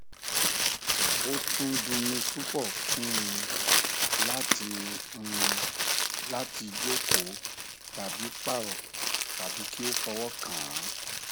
ó tún dunni púpọ fún un láti un láti jókòó tàbí parọ tàbí kí ó fọwọ kàn án